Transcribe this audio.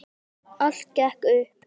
Allt gekk upp.